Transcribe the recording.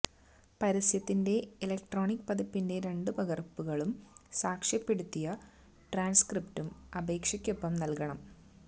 പരസ്യത്തിന്റെ electronic പതിപ്പിന്റെ രണ്ടു പകര്പ്പുകളും സാക്ഷ്യപ്പെടുത്തിയ ട്രാന്സ്ക്രിപ്റ്റും അപേക്ഷയ്ക്കൊപ്പം നല്കണം